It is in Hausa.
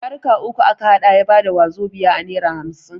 Yaruka uku a ka haɗa ya bada wazobia a nera hamsin.